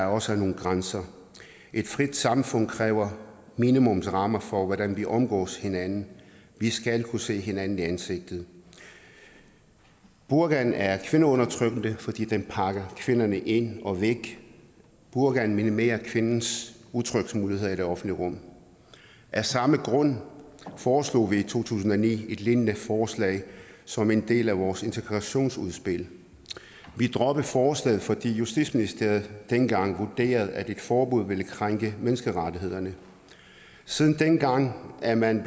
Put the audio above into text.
også være nogle grænser et frit samfund kræver minimumsrammer for hvordan vi omgås hinanden vi skal kunne se hinanden i ansigtet burkaen er kvindeundertrykkende fordi den pakker kvinderne ind og væk burkaen minimerer kvindens udtryksmuligheder i det offentlige rum af samme grund foreslog vi i to tusind og ni et lignende forslag som en del af vores integrationsudspil vi droppede forslaget fordi justitsministeriet dengang vurderede at et forbud ville krænke menneskerettighederne siden dengang er man